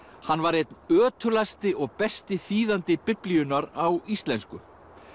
hann var einn ötulasti og besti þýðandi Biblíunnar á íslensku